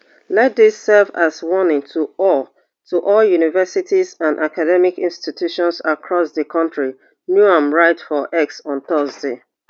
let dis serve as warning to all to all universities and academic institutions across di kontri noem write for x on thursday